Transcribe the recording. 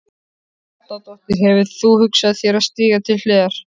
Helga Arnardóttir: Hefur þú hugsað þér að stíga til hliðar?